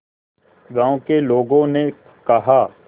गांव के लोगों ने कहा